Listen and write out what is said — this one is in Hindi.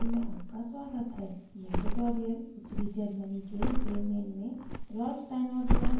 यह ट्यूटोरियल उत्तरी germany के bremen में rolf steinort द्वारा निर्मित है